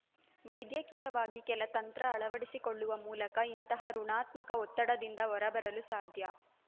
ವೈದ್ಯಕೀಯವಾಗಿ ಕೆಲ ತಂತ್ರ ಅಳವಡಿಸಿಕೊಳ್ಳುವ ಮೂಲಕ ಇಂತಹ ಋುಣಾತ್ಮಕ ಒತ್ತಡದಿಂದ ಹೊರ ಬರಲು ಸಾಧ್ಯ